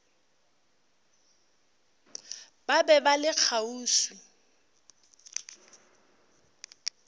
ba be ba le kgauswi